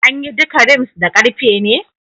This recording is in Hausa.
An yi duka rims da karfe ne?